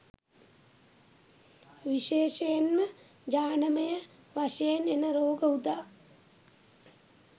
විශේෂයෙන්ම ජානමය වශයෙන් එන රෝග උදා.